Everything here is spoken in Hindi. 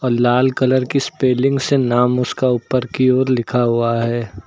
लाल कलर की स्पेलिंग से नाम उसका ऊपर की ओर लिखा हुआ है।